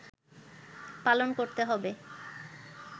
পালন করতে হবে